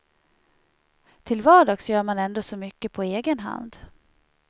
Till vardags gör man ändå så mycket på egen hand.